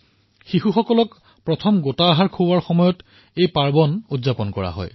এই বিধি শিশুক প্ৰথমবাৰ গোটা আহাৰ প্ৰদান কৰাৰ সময়ত পালন কৰা হয়